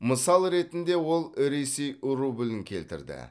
мысал ретінде ол ресей рублін келтірді